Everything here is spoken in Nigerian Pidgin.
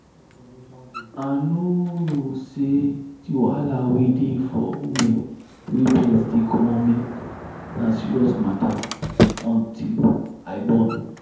i nor know say the wahala wey dey for women wey breast dey comot milk na serious matter until i born.